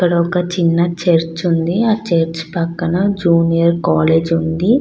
ఇక్కడ ఒక చిన్న చర్చి ఉంది. ఆ చర్చి పక్కన జూనియర్ కాలేజ్ ఉంది.